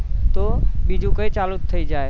તો બીજું કઈક ચાલુ થઇ જાય